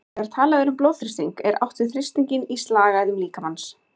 Þegar talað er um blóðþrýsting er átt við þrýstinginn í slagæðum líkamans.